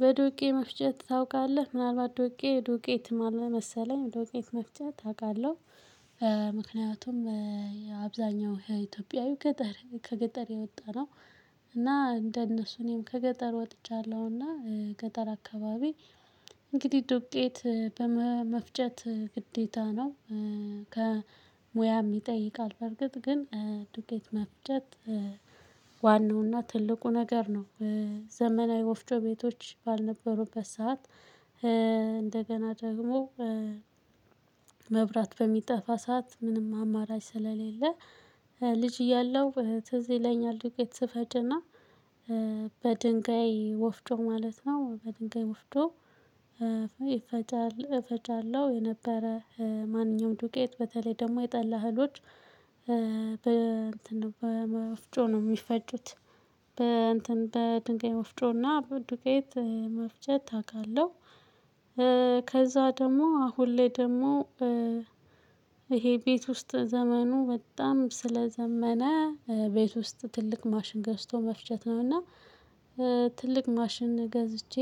በዱቄ መፍጨት ታውቃለህ ምናልባት ዱቄ ዱቄት ማለት መሰለኝ ዱቄት መፍጨት አውቃለሁ ምክንያቱም አብዛኛው የኢትዮጵያዊ ገጠር ከገጠር የወጣ የወጣነው እና እንደነሱ እኔም ከገጠር ወጥቻለሁ እና ገጠር አካባቢ እንግዲህ ዶቄት መፍጨት ግዴታ ነው ሙያ ይጠይቃል በርግጥ ግን ዱቄት መፍጨት ዋናውና ትልቁ ነገር ነው ዘመናዊ ወፍጮ ቤቶች ባልነበሩበት ሰዓት እንደገና ደግሞ መብራት በሚጠፋ ሰዓት ምንም አማራጭ ስለሌለ ልጅ እያለሁ ትዝ ይለኛል ዱቄት ስፈጭና በድንጋይ ወፍጮ ማለት ነው በድንጋይ ወፍጮ እፈጫለሁ የነበረ ማንኛውም ዱቄት በተለይ ደግሞ የጠላ እህሎች በእንትን በወፍጮ ነው የሚፈጩት በእንትን በድንጋይ ወፍጮ እና ዱቄት መፍጨት አውቃለሁ ከዛ ደግሞ አሁን ላይ ደግሞ ይሄ ቤት ውስጥ ዘመኑ በጣም ስለዘመነ ቤት ውስጥ ትልቅ ማሽን ገዝቶ መፍጀት ነው እና ትልቅ ማሽን ገዝቼ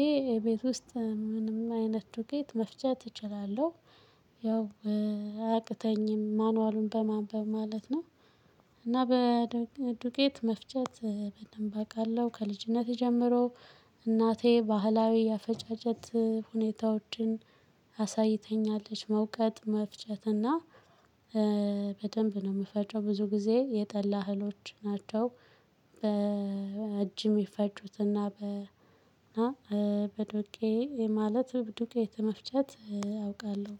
ቤት ውስጥ ምንም አይነት ዱቄት መፍጨት እችላለሁ። ያው አያቅተኝም ማኑዋሉን በማንበብ ማለት ነው። እና ዱቄት መፍጨት በደንብ አውቃለሁ ከልጅነቴ ጀምሮ እናቴ ባህላዊ ያፈጫጨት ሁኔታዎችን አሳይታኛለች መውቀት መፍጨት እና በደንብ ነው የምፈጨው ብዙ ጊዜ የጠላ እህሎች ናቸው በእጅ እሚፈጩትና ማለት ዱቄት መፍጨት አውቃለሁ።